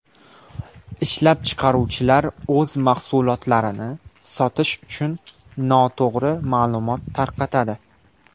Ishlab chiqaruvchilar o‘z mahsulotlarini sotish uchun noto‘g‘ri ma’lumot tarqatadi.